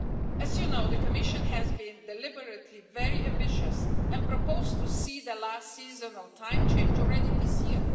As you know, the Commission has been deliberately very ambitious and proposed to see the last seasonal time change already this year.